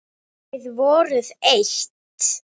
Þið voruð eitt.